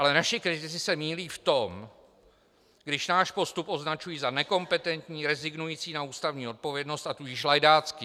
Ale naši kritici se mýlí v tom, když náš postup označují za nekompetentní, rezignující na ústavní odpovědnost, a tudíž lajdácký.